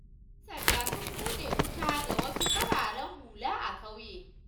Yan sandan sun buɗe wuta ga wasu fararen hula a ƙauyen